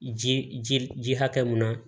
Ji ji ji hakɛ mun na